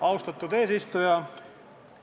Austatud eesistuja!